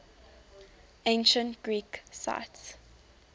ancient greek sites